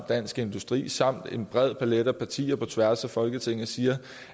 dansk industri samt en bred palet af partier på tværs af folketinget siger